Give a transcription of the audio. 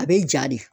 A bɛ ja de